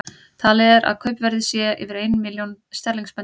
Talið er að kaupverðið sé yfir ein milljón sterlingspunda.